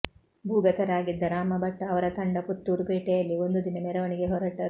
ಭೂಗತರಾಗಿದ್ದ ರಾಮ ಭಟ್ ಅವರ ತಂಡ ಪುತ್ತೂರು ಪೇಟೆಯಲ್ಲಿ ಒಂದು ದಿನ ಮೆರವಣಿಗೆ ಹೊರಟರು